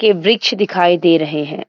के वृक्ष दिखाई दे रहें हैं।